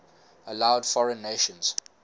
allowed foreign nations